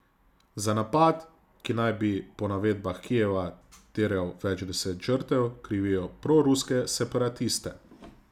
Za napad, ki naj bi po navedbah Kijeva terjal več deset žrtev, krivijo proruske separatiste.